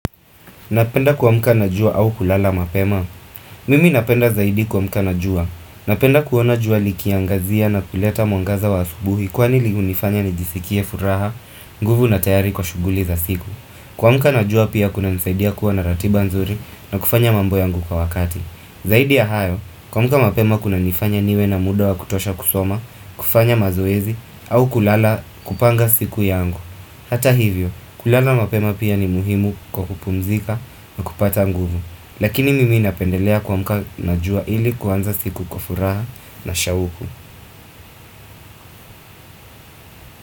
Napenda kuamka na jua au kulala mapema. Mimi napenda zaidi kuamka na jua. Napenda kuona jua likiangazia na kuleta mwangaza wa asubuhi kwa nili unifanya nijisikie furaha, nguvu na tayari kwa shughuli za siku. Kuamka na jua pia kuna nisaidia kuwa na ratiba nzuri na kufanya mambo yangu kwa wakati. Zaidi ya hayo, kuamka mapema kuna nifanya niwe na muda wa kutosha kusoma, kufanya mazoezi, au kulala kupanga siku yangu. Hata hivyo, kulala mapema pia ni muhimu kwa kupumzika na kupata nguvu. Lakini mimi napendelea kuamuka na jua ili kuanza siku kwa furaha na shahuku.